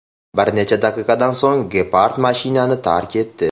Bir necha daqiqadan so‘ng gepard mashinani tark etdi.